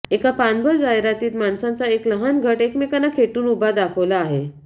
एका पानभर जाहिरातीत माणसांचा एक लहान गट एकमेकांना खेटून उभा दाखवला आहे